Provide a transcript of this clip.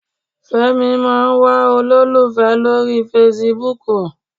Fẹ́mi máa ń wá olólùfẹ́ lórí fesibúùkù.